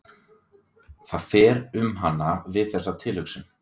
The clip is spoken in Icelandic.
Það fer um hana við þessa tilhugsun.